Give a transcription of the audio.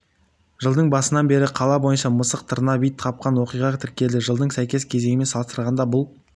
жылдың басынан бері қала бойынша мысық тырнап ит қапқан оқиға тіркелді жылдың сәйкес кезеңімен салыстырғанда бұл